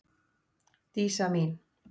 Dísa mín.